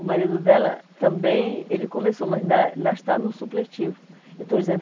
O marido dela também, ele começou, mas ainda ainda está no supletivo. Eu estou dizendo